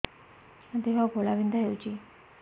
ମୋ ଦେହ ଘୋଳାବିନ୍ଧା ହେଉଛି